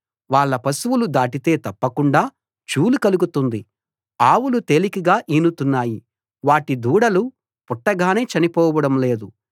వాళ్ళ పశువులు దాటితే తప్పకుండా చూలు కలుగుతుంది ఆవులు తేలికగా ఈనుతున్నాయి వాటి దూడలు పుట్టగానే చనిపోవడం లేదు